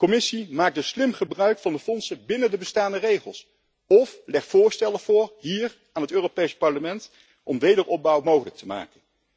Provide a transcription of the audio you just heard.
Commissie, maak dus slim gebruik van de fondsen binnen de bestaande regels of leg voorstellen voor, hier aan het Europees Parlement om wederopbouw mogelijk te maken.